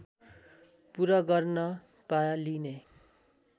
पूरा गर्न पालिने